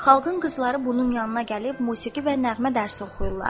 Xalqın qızları bunun yanına gəlib musiqi və nəğmə dərsi oxuyur.